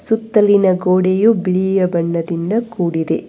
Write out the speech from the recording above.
ಸುತ್ತಲಿನ ಗೋಡೆಯು ಬಿಳಿಯ ಬಣ್ಣದಿಂದ ಕೂಡಿದೆ.